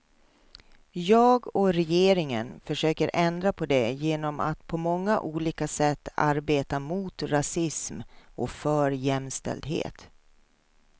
Jag och regeringen försöker ändra på det genom att på många olika sätt arbeta mot rasism och för jämställdhet.